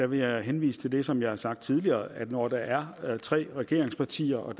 vil jeg henvise til det som jeg har sagt tidligere nemlig at når der er tre regeringspartier og